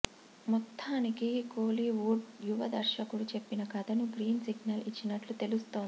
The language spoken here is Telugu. మొత్తానికి కోలీవుడ్ యువ దర్శకుడు చెప్పిన కథకు గ్రీన్ సిగ్నల్ ఇచ్చినట్లు తెలుస్తోంది